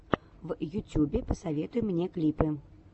в ютюбе посоветуй мне клипы